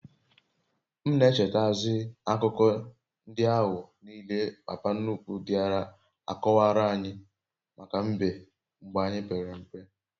m n'echeta zi akuko ndi ahu niile papa nnukwu diara akowaranyi maka mbe mgbe anyi pere mpe